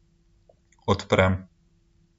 Odprem.